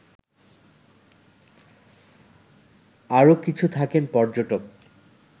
আর কিছু থাকেন পর্যটক